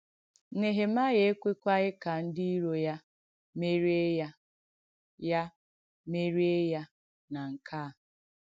Nèhèmàịà èkwèkwàghì kà ndí ìrò ya mèriè ya ya mèriè ya nà nke à.